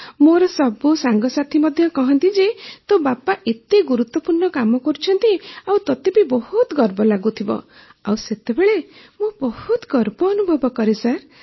ହଁ ମୋର ସବୁ ସାଙ୍ଗସାଥୀ ମଧ୍ୟ କହନ୍ତି ଯେ ତୋ ବାପା ଏତେ ଗୁରୁତ୍ୱପୂର୍ଣ୍ଣ କାମ କରୁଛନ୍ତି ଆଉ ତୋତେ ବି ବହୁତ ଗର୍ବ ଲାଗୁଥିବ ଆଉ ସେତେବେଳେ ମୁଁ ବହୁତ ଗର୍ବ ଅନୁଭବ କରେ